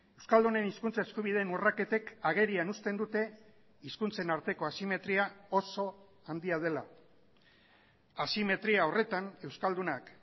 euskaldunen hizkuntza eskubideen urraketek agerian uzten dute hizkuntzen arteko asimetria oso handia dela asimetria horretan euskaldunak